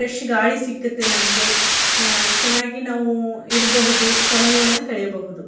Fresh ಗಾಳಿ ಸಿಕ್ಕುತ್ತೆ ನಮಗೆ ಅಅ ಚೆನ್ನಾಗಿ ನಾವೂ ಇರ್ಬಹುದು ಸಮಯವನ್ನ ಕಳೆಯಬಾಹುದು.